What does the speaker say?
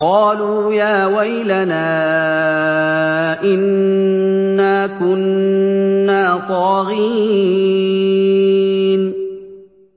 قَالُوا يَا وَيْلَنَا إِنَّا كُنَّا طَاغِينَ